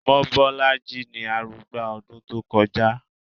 Mobọ́lájí ni arugba ọdún tó kọjá